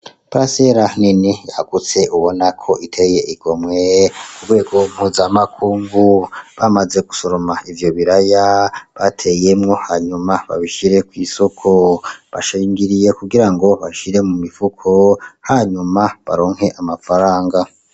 Parasera nini yagutse ubonako iteye igomwe kugwego mpuzamakungu. Bamaze gusoroma ivyobiraya bateyemwo hanyuma babishire kw'isoko. Bashingiriye kugirango babishire mu mifuko hanyuma baronke amafaranga.